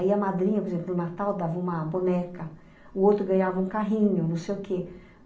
Aí a madrinha, por exemplo, no Natal dava uma boneca, o outro ganhava um carrinho, não sei o quê.